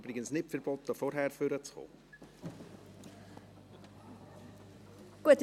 Es ist übrigens nicht verboten, schon vor dem Votum nach vorne zu kommen.